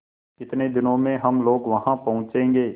कितने दिनों में हम लोग वहाँ पहुँचेंगे